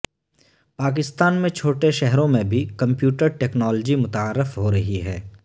پاکستان میں چھوٹے شہروں میں بھی کمپیوٹر ٹیکنالوجی متعارف ہو رہی ہے